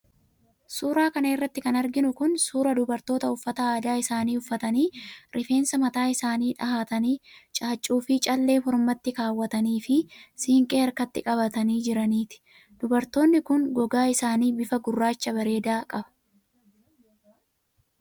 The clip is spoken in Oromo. Suura kana irratti kan arginu kun, suura dubartoota uffata aadaa isaanii uffatanii, rifeensa mataa isaanii dhahatanii ,caaccuu fi callee mormatti kaawwatanii ,fi siinqee harkatti qabatanii jiraniiti. Dubartoonni kun, gogaan isaanii bifa gurraacha bareedaa qaba.